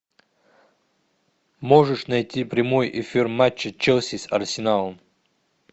можешь найти прямой эфир матча челси с арсеналом